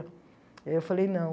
Aí eu falei não.